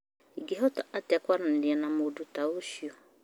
ĩngĩhota atĩa kwaranĩria na mũndũ ta ũcio